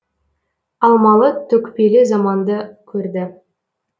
алмалы төкпелі заманды көрді